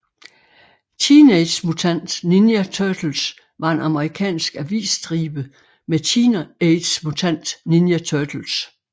Teenage Mutant Ninja Turtles var en amerikansk avisstribe med Teenage Mutant Ninja Turtles